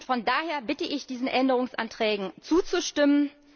Von daher bitte ich, diesen Änderungsanträgen zuzustimmen.